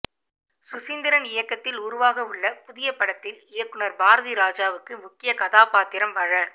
சுசீந்திரன் இயக்கத்தில் உருவாகவுள்ள புதிய படத்தில் இயக்குநர் பாரதிராஜாவுக்கு முக்கிய கதாபாத்திரம் வழ